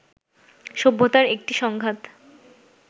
সভ্যতার এক-একটি সংঘাত